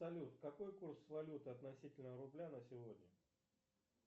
салют какой курс валюты относительно рубля на сегодня